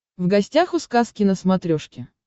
в гостях у сказки на смотрешке